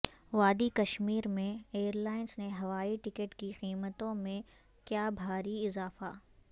وادی کشمیر میں airlines نے ہوائی ٹکٹ کی قیمتوں میں کیا بھاری اضافہ